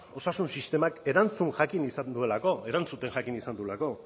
osasun sistemak erantzun jakin izan duelako erantzuten jakin izan duelako